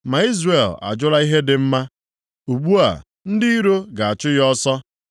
Ma Izrel ajụla ihe dị mma. Ugbu a, ndị iro ga-achụ ya ọsọ.